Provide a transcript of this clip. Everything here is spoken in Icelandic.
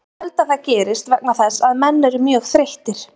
Ég held að það gerist vegna þess að menn eru mjög þreyttir.